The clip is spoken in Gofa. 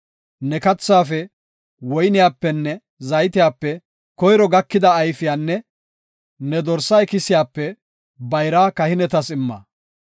Ne kathaafe, woyniyapenne zaytiyape koyro gakida ayfiyanne ne dorsa ikisiyape bayraa kahinetas imma.